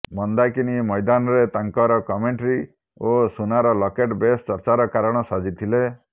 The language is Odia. ମନ୍ଦାକିନୀ ମୈଦାନରେ ତାଙ୍କର କମେଂଟ୍ରି ଓ ସୁନାର ଲକେଟ ବେଶ ଚର୍ଚ୍ଚାର କାରଣ ସାଜିଥିଲେ